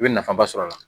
I bɛ nafaba sɔrɔ a la